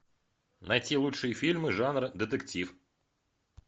найти лучшие фильмы жанра детектив